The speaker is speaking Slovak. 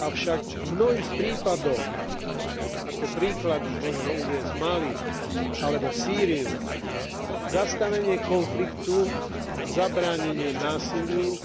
Avšak v mnohých prípadoch ako príklady možno uviesť Mali alebo Sýriu zastavenie konfliktu, zabránenie násiliu